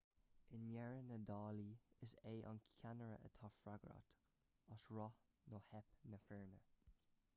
i ndeireadh na dála is é an ceannaire atá freagrach as rath nó teip na foirne